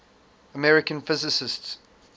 american physicists